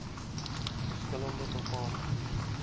verskil lende bepalings